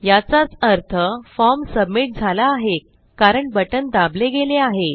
याचाच अर्थ form submit झाला आहे कारण बटण दाबले गेले आहे